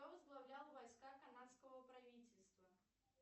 кто возглавлял войска канадского правительства